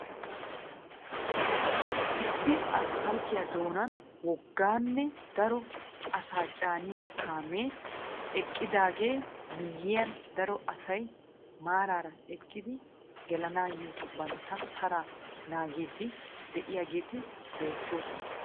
Issi asppalttiyaa doonan wogganne daro asaa caaniya kaamee eqqidaagaa miyiyyan daro asay maarara eqqidi gelanaayoo bantta taraa naagiidi de"iyaageeti beettoosona.